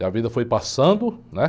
E a vida foi passando, né?